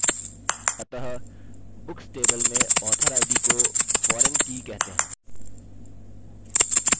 अतः books table में author id को foreign foreign की कहते हैं